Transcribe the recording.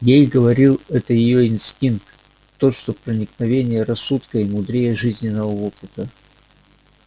ей говорил это её инстинкт тот что проницательнее рассудка и мудрее жизненного опыта